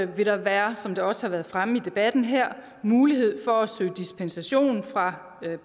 vil der være som det også har været fremme i debatten her mulighed for at søge dispensation fra